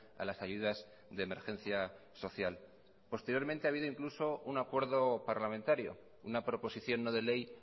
a las ayudas de emergencia social posteriormente ha habido incluso un acuerdo parlamentario una proposición no de ley